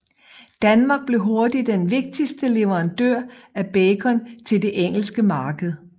Danmark blev hurtigt den vigtigste leverandør af bacon til det engelske marked